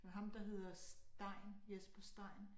Men ham der hedder Stein Jesper Stein